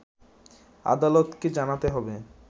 আদালতকে জানাতে হবে